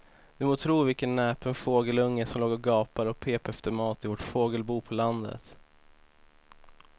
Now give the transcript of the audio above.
Du må tro vilken näpen fågelunge som låg och gapade och pep efter mat i vårt fågelbo på landet.